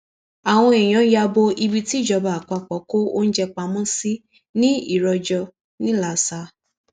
àwọn èèyàn ya bo ibi tíjọba àpapọ kó oúnjẹ pamọ sí ní ìròjọ ńìlasa